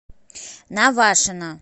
навашино